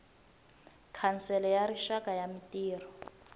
khansele ya rixaka ya mintirho